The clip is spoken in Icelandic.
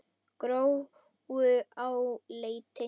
Gróu á Leiti.